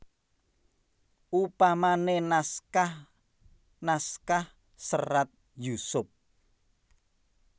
Upamane naskah naskah Serat Yusup